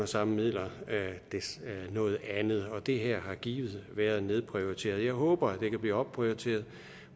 samme midler noget andet det her har givet været nedprioriteret jeg håber at det kan blive opprioriteret